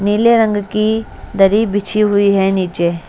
नीले रंग की दरी बिछी हुई है नीचे--